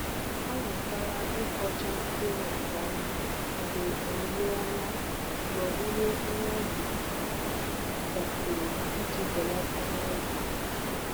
Ọ mụtara ịkpọcha mkpụrụ nke ọma mgbe owuwe ọma mgbe owuwe ihe ubi gasịrị iji belata mmebi.